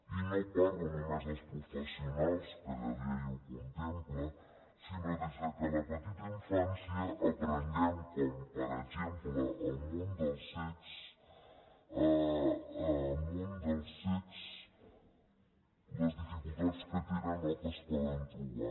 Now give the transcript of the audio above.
i no parlo només dels professionals que la llei ho contempla sinó que des de la petita infància aprenguem com per exemple al món dels cecs les dificultats que tenen o que es poden trobar